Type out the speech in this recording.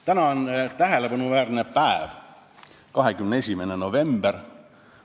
Täna on tähelepanuväärne päev, 21. november.